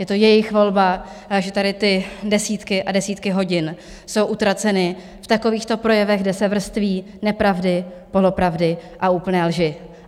Je to jejich volba, že tady ty desítky a desítky hodin jsou utraceny v takovýchto projevech, kde se vrství nepravdy, polopravdy a úplné lži.